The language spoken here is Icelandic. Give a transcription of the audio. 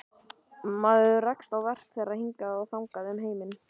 Maður rekst á verk þeirra hingað og þangað um heiminn.